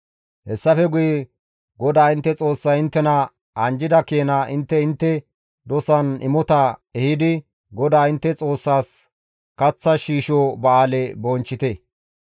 Hessafe guye GODAA intte Xoossay inttena anjjida keena intte intte dosan imota ehidi GODAA intte Xoossaas kaththa shiisho ba7aale bonchchite.